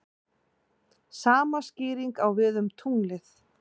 Sama skýring á við um tunglið.